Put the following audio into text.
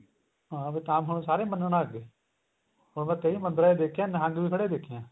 ਹਾਂ ਫੇਰ ਤਾਂ ਹੁਣ ਸਾਰੇ ਮੰਨਣ ਲੱਗ ਗਏ ਹੁਣ ਮੈਂ ਕਈ ਮੰਦਰਾਂ ਚ ਦੇਖਿਆ ਨਿਹੰਗ ਵੀ ਖੜੇ ਦੇਖੇ ਆ